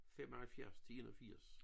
75 til 81